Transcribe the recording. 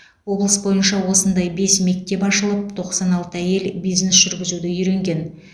облыс бойынша осындай бес мектеп ашылып тоқсан алты әйел бизнес жүргізуді үйренген